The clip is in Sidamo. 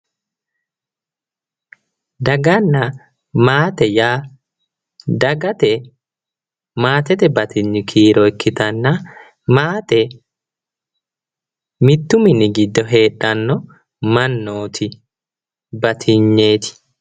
Daganna maate yaa, dagate maatete batinyi kiiro ikkitanna, maate mittu mini giddo heedhanno mannooti batinyeeti.